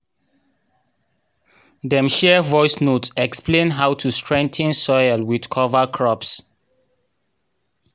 dem share voice notes explain how to strengthen soil with cover crops